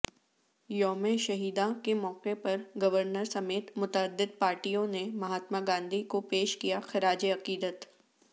یوم شہیداں کے موقع پرگورنر سمیت متعدد پارٹیوںنے مہاتماگاندھی کوپیش کیاخراج عقیدت